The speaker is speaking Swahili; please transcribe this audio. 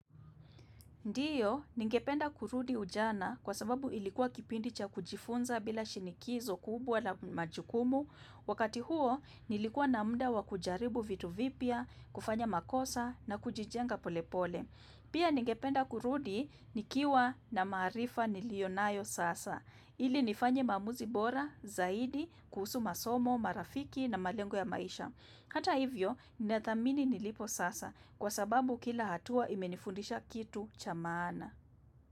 Ndiyo, ningependa kurudi ujana kwa sababu ilikuwa kipindi cha kujifunza bila shinikizo kubwa na majukumu. Wakati huo, nilikuwa na muda wa kujaribu vitu vipya, kufanya makosa na kujijenga polepole. Pia ningependa kurudi, nikiwa na maarifa nilio nayo sasa. Ili nifanye maamuzi bora, zaidi, kuhusu masomo, marafiki na malengo ya maisha. Hata hivyo, ninadhamini nilipo sasa kwa sababu kila hatua imenifundisha kitu cha maana.